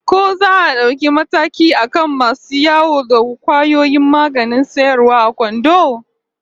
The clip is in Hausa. Ko za a dauki mataki akan masu yawo da kwayoyin maganin sayarwa a kwando?